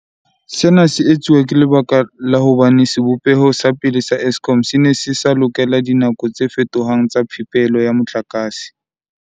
Sena se etsuwa ka lebaka la hobane sebopeho sa pele sa Eskom se ne se sa lokela dinako tse fetohang tsa phepelo ya motlakase.